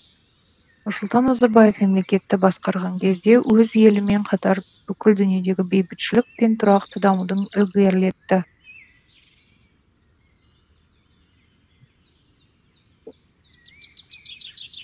нұрсұлтан назарбаев мемлекетті басқарған кезде өз елімен қатар бүкіл дүниедегі бейбітшілік пен тұрақты дамуды ілгерілетті